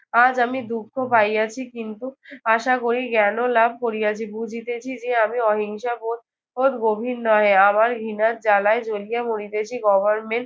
আজ আমি দুঃখ পাইয়াছি। কিন্তু আশা করি জ্ঞানও লাভ করিয়াছি। বুঝিতেছি যে আমি অহিংসাবোধ বোধ গভীর নহে। আমার ঘৃণার জ্বালায় জ্বলিয়া মরিতেছি। government